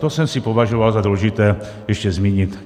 To jsem si považoval za důležité ještě zmínit.